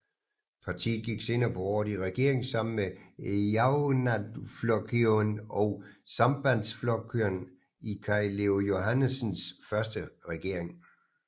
Partiet gik senere på året i regering sammen med Javnaðarflokkurin og Sambandsflokkurin i Kaj Leo Johannesens første regering